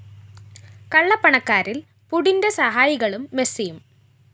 കള്ളപ്പണക്കാരില്‍ പുടിന്റെ സഹായികളും മെസ്സിയും